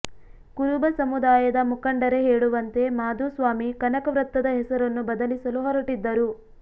ಕುರುಬ ಸಮುದಾಯದ ಮುಖಂಡರೇ ಹೇಳುವಂತೆ ಮಾಧುಸ್ವಾಮಿ ಕನಕ ವೃತ್ತದ ಹೆಸರನ್ನು ಬದಲಿಸಲು ಹೊರಟಿದ್ದರು